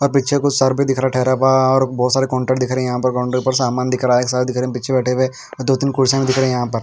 और पीछे कुछ सर भी दिख रहा है ठहरा बाहर और बोहोत सारे कॉन्टेक्ट दिख रहे है यहाँ पर सामान दिख रहा है साथ दिख रहे है पीछे बैठे हुए दो तीन कुर्सी दिख रही है यहाँ पर।